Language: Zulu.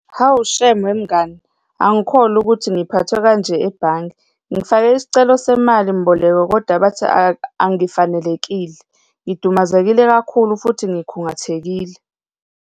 Hawu shame wemngani, angikholwa ukuthi ngiphathwe kanje ebhange. Ngifake isicelo semali mboleko kodwa bathi angifanelekile. Ngidumazekile kakhulu futhi ngikhungathekile.